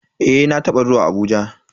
Eh na taba zuwa Abuja.